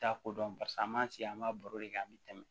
T'a ko dɔn barisa an m'a sigi an b'a baro de kɛ an bi tɛmɛ